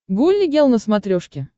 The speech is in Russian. гулли гел на смотрешке